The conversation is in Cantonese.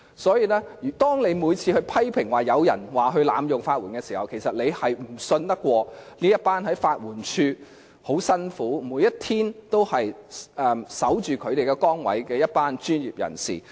所以，當你批評有人濫用法援，其實是不相信每天辛勤地在法援署緊守崗位的一群專業人士。